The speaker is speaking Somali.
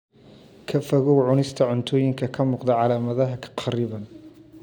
Ka fogow cunista cuntooyinka ka muuqda calaamadaha kharriban.